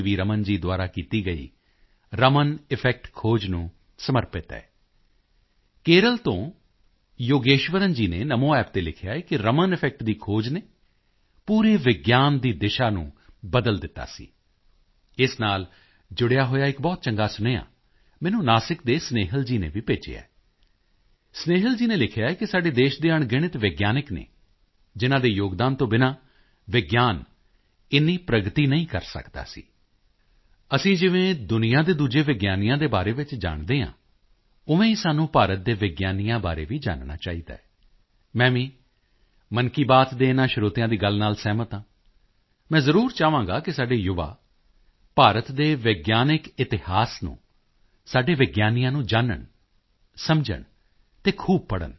ਰਮਨ ਜੀ ਦੁਆਰਾ ਕੀਤੀ ਗਈ ਰਮਨ ਇਫੈਕਟ ਖੋਜ ਨੂੰ ਸਮਰਪਿਤ ਹੈ ਕੇਰਲ ਤੋਂ ਯੋਗੇਸ਼ਵਰਨ ਜੀ ਨੇ NamoApp ਤੇ ਲਿਖਿਆ ਹੈ ਕਿ ਰਮਨ ਇਫੈਕਟ ਦੀ ਖੋਜ ਨੇ ਪੂਰੀ ਵਿਗਿਆਨ ਦੀ ਦਿਸ਼ਾ ਨੂੰ ਬਦਲ ਦਿੱਤਾ ਸੀ ਇਸ ਨਾਲ ਜੁੜਿਆ ਹੋਇਆ ਇੱਕ ਬਹੁਤ ਚੰਗਾ ਸੁਨੇਹਾ ਮੈਨੂੰ ਨਾਸਿਕ ਦੇ ਸਨੇਹਿਲ ਜੀ ਨੇ ਵੀ ਭੇਜਿਆ ਹੈ ਸਨੇਹਿਲ ਜੀ ਨੇ ਲਿਖਿਆ ਹੈ ਕਿ ਸਾਡੇ ਦੇਸ਼ ਦੇ ਅਣਗਿਣਤ ਵਿਗਿਆਨੀ ਹਨ ਜਿਨ੍ਹਾਂ ਦੇ ਯੋਗਦਾਨ ਤੋਂ ਬਿਨਾਂ ਵਿਗਿਆਨ ਐਨੀ ਪ੍ਰਗਤੀ ਨਹੀਂ ਕਰ ਸਕਦਾ ਸੀ ਅਸੀਂ ਜਿਵੇਂ ਦੁਨੀਆ ਦੇ ਦੂਜੇ ਵਿਗਿਆਨੀਆਂ ਦੇ ਬਾਰੇ ਵਿੱਚ ਜਾਣਦੇ ਹਾਂ ਉਵੇਂ ਹੀ ਸਾਨੂੰ ਭਾਰਤ ਦੇ ਵਿਗਿਆਨੀਆਂ ਬਾਰੇ ਵੀ ਜਾਨਣਾ ਚਾਹੀਦੈ ਮੈਂ ਵੀ ਮਨ ਕੀ ਬਾਤ ਦੇ ਇਨ੍ਹਾਂ ਸਰੋਤਿਆਂ ਦੀ ਗੱਲ ਨਾਲ ਸਹਿਮਤ ਹਾਂ ਮੈਂ ਜ਼ਰੂਰ ਚਾਹਾਂਗਾ ਕਿ ਸਾਡੇ ਯੁਵਾ ਭਾਰਤ ਦੇ ਵਿਗਿਆਨਿਕ ਇਤਿਹਾਸ ਨੂੰ ਸਾਡੇ ਵਿਗਿਆਨੀਆਂ ਨੂੰ ਜਾਨਣ ਸਮਝਣ ਅਤੇ ਖੂਬ ਪੜ੍ਹਨ